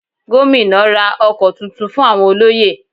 Gómìnà ra ọkọ̀ tuntun fún àwọn olóyè